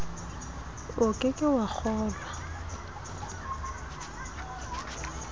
o ke ke wa kgolwa